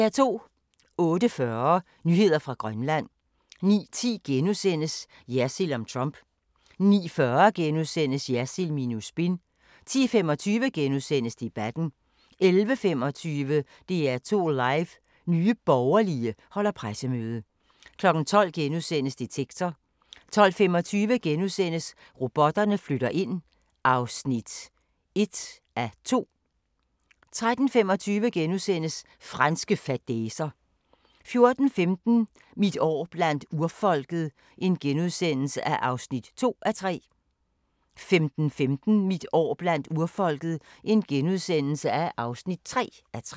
08:40: Nyheder fra Grønland 09:10: Jersild om Trump * 09:40: Jersild minus spin * 10:25: Debatten * 11:25: DR2 Live: Nye Borgerlige holder pressemøde 12:00: Detektor * 12:25: Robotterne flytter ind (1:2)* 13:25: Franske fadæser * 14:15: Mit år blandt urfolket (2:3)* 15:15: Mit år blandt urfolket (3:3)*